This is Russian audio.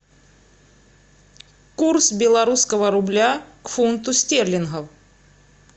курс белорусского рубля к фунту стерлингов